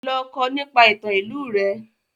Lọ kọ́ nípa ìtàn ìlú rẹ!